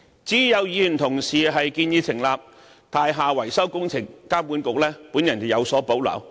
至於有議員建議成立"樓宇維修工程監管局"，我則有所保留。